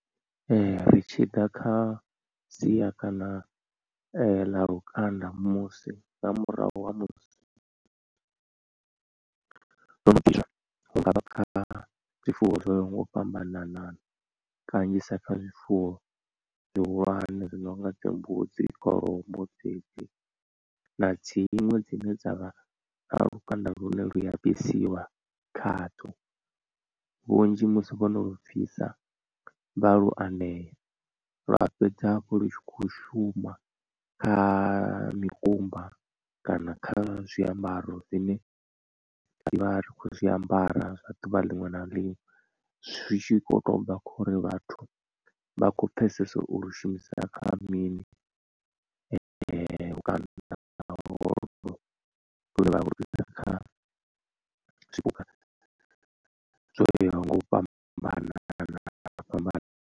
Ri tshi ḓa kha sia kana ḽa lukanda musi nga murahu ha musi zwono bviswa hungavha kha zwifuwo zwo yaho nga u fhambanana kanzhisa kha zwifuwo zwihulwane zwi no nga dzi mbudzi, kholomo dzedzi na dziṅwe dzine dza vhana lukanda lune lu a bvisiwa khadzo. Vhunzhi musi vhono lu bvisa vha lu anea lwa fhedza hafhu lu tshi khou shuma kha mikumba kana kha zwiambaro zwine ri vha ri khou zwiambara zwa ḓuvha liṅwe na liṅwe zwi tshi kho to bva khori vhathu vha khou pfhesesa ulu shumisa kha mini zwipuka zwo yaho nga u fhambana fhambana.